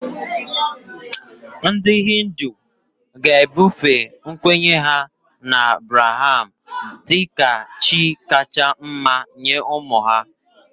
Ndị Hindu ga-ebufe nkwenye ha na Brahma dị ka chi kacha mma nye ụmụ ha